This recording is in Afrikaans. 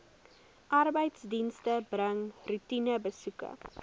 arbeidsdienste bring roetinebesoeke